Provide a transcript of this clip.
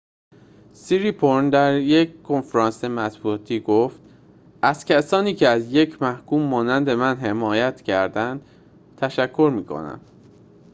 سیریپورن در یک کنفرانس مطبوعاتی گفت از کسانی که از یک محکوم مانند من حمایت کردند تشکر می‌کنم